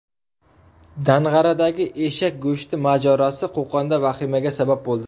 Dang‘aradagi eshak go‘shti mojarosi Qo‘qonda vahimaga sabab bo‘ldi .